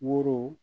Woro